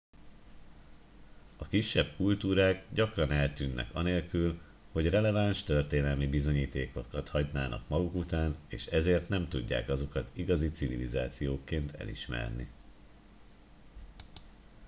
a kisebb kultúrák gyakran eltűnnek anélkül hogy releváns történelmi bizonyítékokat hagynának maguk után és ezért nem tudják azokat igazi civilizációkként elismerni